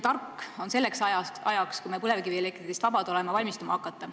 Tark on selleks ajaks, kui me põlevkivielektrist vabad oleme, valmistuma hakata.